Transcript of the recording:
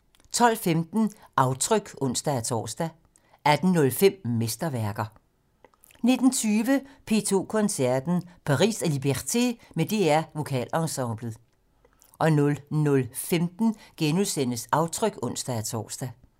12:15: Aftryk (ons-tor) 18:05: Mesterværker 19:20: P2 Koncerten - Paris og Liberté med DR Vokalensemblet 00:15: Aftryk *(ons-tor)